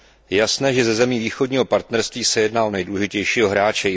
Je jasné, že ze zemí Východního partnerství se jedná o nejdůležitějšího hráče.